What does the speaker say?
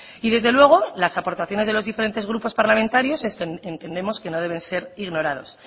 y desde luego las aportaciones de los diferentes grupos parlamentarios entendemos que no deben ser ignoradas